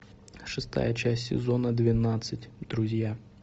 шестая часть сезона двенадцать друзья